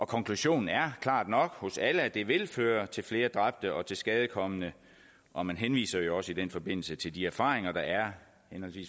konklusionen er klart nok hos alle at det vil føre til flere dræbte og tilskadekomne og man henviser jo også i den forbindelse til de erfaringer der er